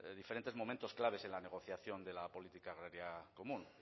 diferentes momentos claves en la negociación de la política agraria común